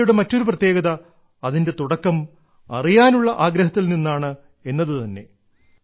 ഗീതയുടെ മറ്റൊരു പ്രത്യേകത അതിന്റെ തുടക്കം അറിയാനുള്ള ആഗ്രഹത്തിൽ നിന്നാണ് എന്നതു തന്നെ